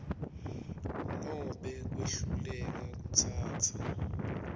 nobe kwehluleka kutsatsa